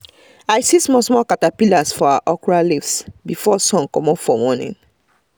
i see small small caterpillars for our okra leaves before sun comot for morning